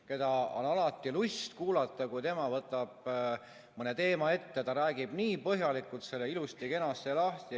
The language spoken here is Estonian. Teda on alati lust kuulata, kui tema võtab mõne teema ette, siis ta räägib nii põhjalikult ilusti-kenasti kõik lahti.